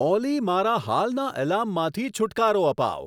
ઓલી મારા હાલના એલાર્મમાંથી છૂટકારો અપાવ